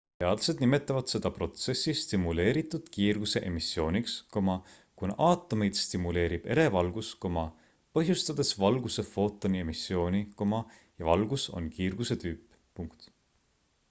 teadlased nimetavad seda protsessi stimuleeritud kiirguse emissiooniks kuna aatomeid stimuleerib ere valgus põhjustades valguse footoni emissiooni ja valgus on kiirguse tüüp